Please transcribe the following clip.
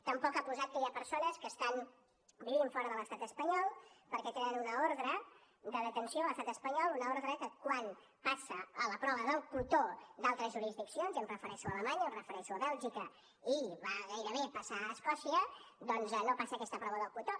tampoc ha posat que hi ha persones que estan vivint fora de l’estat espanyol perquè tenen una ordre de detenció a l’estat espanyol una ordre que quan passa la prova del cotó d’altres jurisdiccions i em refereixo a alemanya em refereixo a bèlgica i va gairebé passar a escòcia doncs no passa aquesta prova del cotó